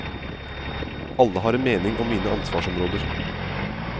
Alle har en mening om mine ansvarsområder.